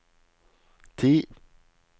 ti